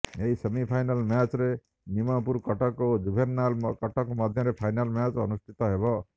ଏହି ସେମିଫାଇନାଲ ମ୍ୟାଚରେ ନିମପୁର କଟକ ଓ ଜୁଭେନାଇଲ କଟକ ମଧ୍ୟରେ ଫାଇନାଲ ମ୍ୟାଚ ଅନୁଷ୍ଠିତ ହେବ